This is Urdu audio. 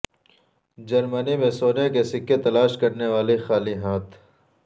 جرمنی میں سونے کے سکے تلاش کرنے والا خالی ہاتھ